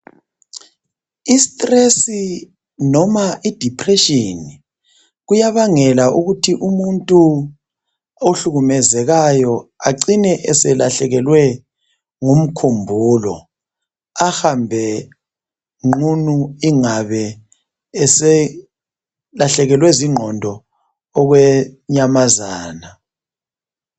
Istress noma I depression kuyabangela ukuthi umuthi ohlukumezekayo acine eselahlekelwe ngumkhumbulo ahambe nqunu ingabe eselahlekelwe zingqondo okwenyamazana